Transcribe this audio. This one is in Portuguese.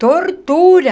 Tortura.